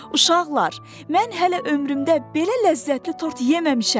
Uşaqlar, mən hələ ömrümdə belə ləzzətli tort yeməmişəm!